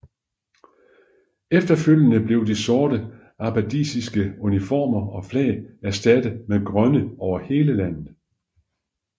Efterfølgende blev de sorte abbasidiske uniformer og flag erstattet med grønne over hele landet